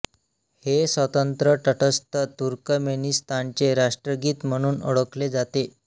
हे स्वतंत्र तटस्थ तुर्कमेनिस्तानचे राष्ट्रगीत म्हणून ओळखले जाते